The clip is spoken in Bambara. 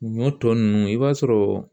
Ɲɔ tɔ ninnu i b'a sɔrɔ